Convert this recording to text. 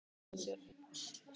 Hann var ekkert að flýta sér.